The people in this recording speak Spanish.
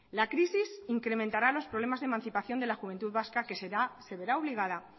la crisis incrementará los problemas de emancipación de la juventud vasca que se verá obligada